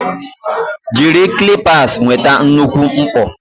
Jiri clippers nweta nnukwu mkpọ.